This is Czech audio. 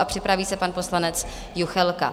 A připraví se pan poslanec Juchelka.